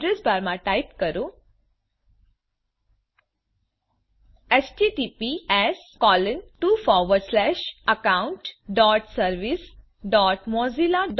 અડ્રેસબારમાં type કરો httpsaccountservicesmozillacom